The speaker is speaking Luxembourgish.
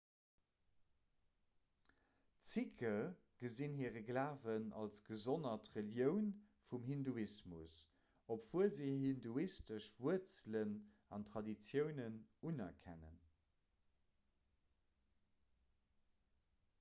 d'sikhe gesinn hire glawen als gesonnert relioun vum hinduismus obwuel se hir hinduistesch wuerzelen an traditiounen unerkennen